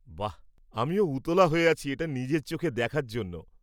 বাহ! আমিও উতলা হয়ে আছি এটা নিজের চোখে দেখার জন্য।